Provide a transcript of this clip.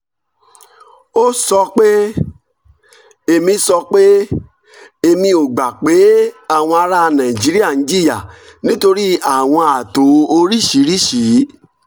ó sọ pé: èmi sọ pé: èmi ò gbà pé àwọn ará nàìjíríà ń jìyà nítorí àwọn ààtò oríṣiríṣi